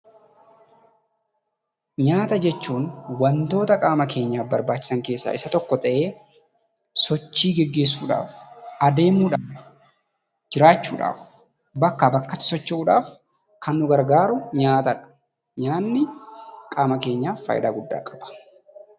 Nyaata jechuun wantoota qaama keenyaaf barbaachisan keessaa isa tokko ta'ee, sochii gaggeessuudhaaf, adeemuudhaaf, jiraachuudhaaf, bakkaa bakkatti socho'uudhaaf kan nu gargaaru nyaatadha. Nyaanni qaama keenyaaf faayidaa guddaa qaba.